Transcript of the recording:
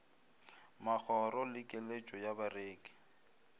magoro le keletšo ya bareki